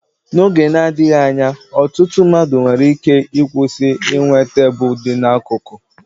N'oge na-adịghị anya, ọtụtụ mmadụ nwere ike ịkwụsị inwe tebụl dị n'akụkụ.